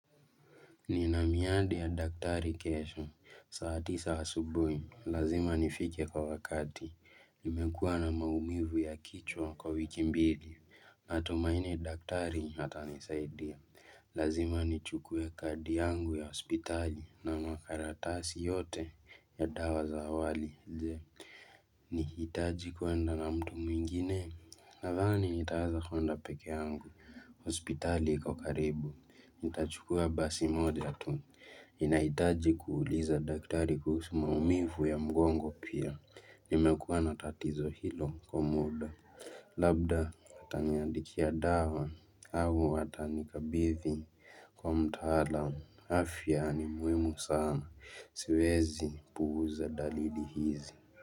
Ni na miadi ya daktari kesho, saa tisa subuhi, lazima nifike kwa wakati, nimekuwa na maumivu ya kichwa kwa wiki mbili, natumaini daktari atanisaidia, lazima nichukue kadi yangu ya hospitali na makaratasi yote ya dawa za awali, nihitaji kuenda na mtu mwingine, nadhani nitaanza huenda peke yangu, hospitali kwa karibu, nitachukua basi moja tu ninahitaji kuuliza daktari kuhusu maumivu ya mgongo pia nimekuwa na tatizo hilo kwa muda Labda ataniandikia dawa au atanikabidhi kwa mtaalam afya ni muhimu sana siwezi puuza dalili hizi.